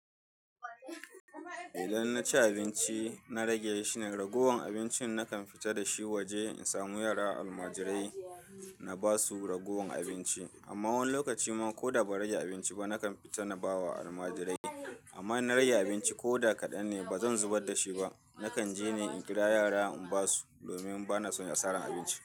Idan na ci abinci, na rage shi ne, ragowar abincin nakan fita da shi waje in samu yara almajirai na ba su ragowar abinci. Amma wani lokaci ma ko da ba rage abinci ba, nakan fita na ba wa almajirai. Amma na rage abinci ko da kaɗan ne ba zan zubar da shi ba. Nakan je ni in kira yara in ba su domin ba na son ya sarra abinci.